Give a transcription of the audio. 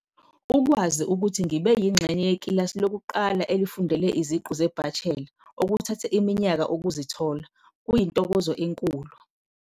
Ukwazi ukuthi ngibe yingxenye yekilasi lokuqala elifundele iziqu zebachelor, okuthathe iminyaka ukuzithola, kuyintokozo enkulu.